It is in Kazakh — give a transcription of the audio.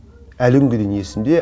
әлі күнге дейін есімде